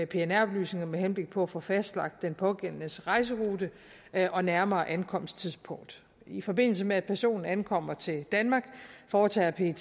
pnr oplysninger med henblik på at få fastlagt den pågældendes rejserute og nærmere ankomsttidspunkt i forbindelse med at personen ankommer til danmark foretager pet